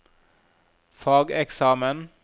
fageksamen